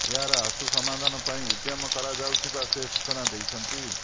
ଏହାର ଆସୁ ସମାଧାନ ପାଇଁ ଉଦ୍ୟମ କରା ଯାଉଥିବା ସେ ସୁଚନା ଦେଇଛନ୍ତି